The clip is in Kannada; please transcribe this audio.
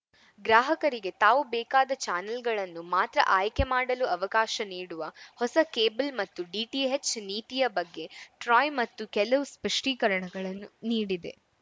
ಗ್ರಾಹಕರಿಗೆ ತಾವು ಬೇಕಾದ ಚಾನೆಲ್‌ಗಳನ್ನು ಮಾತ್ರ ಆಯ್ಕೆ ಮಾಡಲು ಅವಕಾಶ ನೀಡುವ ಹೊಸ ಕೇಬಲ್‌ ಮತ್ತು ಡಿಟಿಎಚ್‌ ನೀತಿಯ ಬಗ್ಗೆ ಟ್ರಾಯ್‌ ಮತ್ತೆ ಕೆಲವು ಸ್ಪಷ್ಟೀಕರಣಗಳನ್ನು ನೀಡಿದೆ